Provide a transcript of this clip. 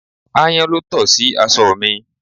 Ayan ló to sí aṣọ mi.